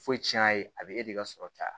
Foyi cɛn a ye a bɛ e de ka sɔrɔ caya